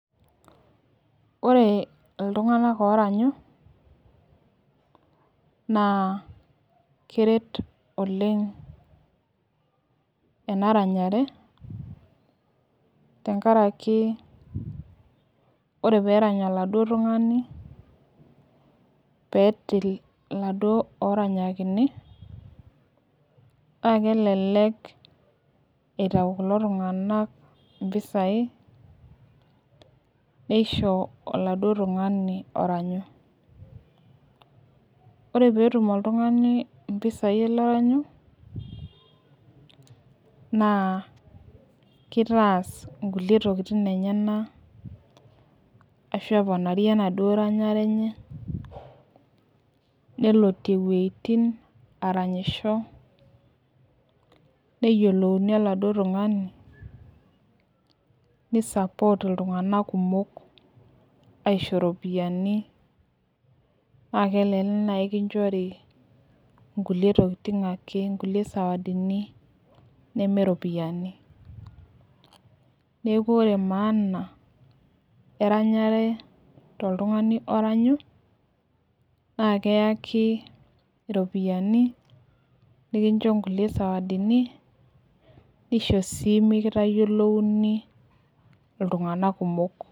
Ore iltunganak oranyu naaa keret oleng ena ranyare tengaraki ore peerany eladuo tungani petil laduo ooranyakini naa kelelek eitau kulo tunganak impisai neisho oladuo tungani oranyu, ore peetum iltungani mpisai aale oranyu naa keitaas nkule tokitin enyena ashu opanarie enaduo ranyare enye nelotie wejitin aranyisho, neyiolouni eladuo tungani neisapoot iltungana kumok aisho iropiyiani naa kelelek nai ikinchori nkule tokitin ake ,inkule sawadini nemee iropiyiani, neaku ore emaana eranyare te iltungani oranyu naa keayaki iropiyiani nikincho ilkule sawadini nikincho sii mikitayielouni iltunganak kumok.